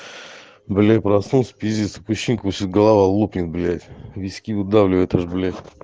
блин проснулся пиздец такое ощущение как будто сейчас голова лопнет блять виски выдавливает аж блять